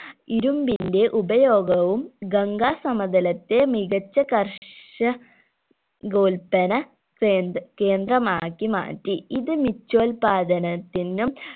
ഇരുമ്പിന്റെ ഉപയോഗവും ഗംഗാ സമതലത്തെ മികച്ച കർഷകോൽ പ്പന കേന്ദ കേന്ദ്രമാക്കി മാറ്റി ഇത് മിചൊൽപാദനത്തിനും